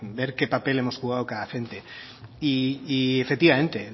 ver qué papel hemos jugado cada agente efectivamente